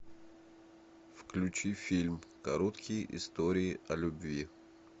включи фильм короткие истории о любви